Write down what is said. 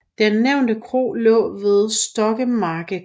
Den nævnte kro lå ved Stokkemarkegård